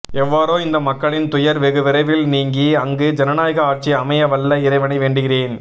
எவ்வாறோ இந்த மக்களின் துயர் வெகு விரைவில் நீங்கி அங்கு ஜனநாயக ஆட்சி அமைய வல்ல இறைவனை வேண்டுகிறேன்